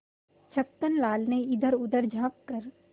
छक्कन लाल ने इधरउधर झॉँक कर